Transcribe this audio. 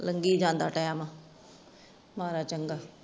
ਲਗੀ ਜਾਦਾ ਟਾਈਮ ਮਾੜਾ ਚੰਗਾ